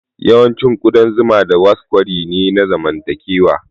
Yawancin ƙudan zuma da wasp kwari ne na zamantakewa.